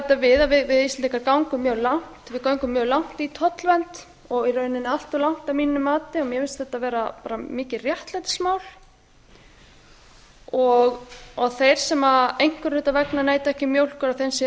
það má svo bæta við að við íslendingar göngum mjög langt í tollvernd og í rauninni allt of langt að mínu mati mér finnst þetta vera mikið réttlætismál þeir sem einhverra hluta vegna neyta ekki mjólkur að